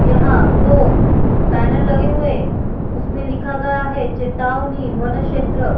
यहाँ दो पैनल लगे हुए उसमे लिखा गया है चेतावनी वन क्षेत्र --